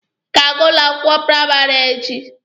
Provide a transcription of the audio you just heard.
Ị ga-aga ụlọ akwụkwọ praịmarị a echi?